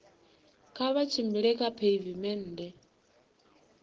kha vha tshimbile kha pheivimennde